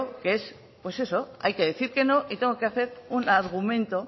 que hay que no y tengo que hacer un argumento